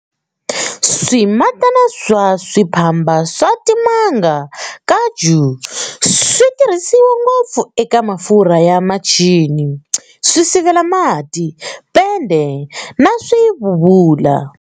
Swimatana swa swiphamba swa timanga-kaju swi tirhisiwa ngopfu eka mafurha ya michini, swisivela mati, pende na swibubula.